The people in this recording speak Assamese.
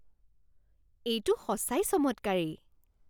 এইটো সঁচাই চমৎকাৰী!